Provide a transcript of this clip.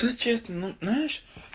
то честно но знаешь